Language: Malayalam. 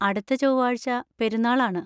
അടുത്ത ചൊവ്വാഴ്ച പെരുന്നാൾ ആണ്.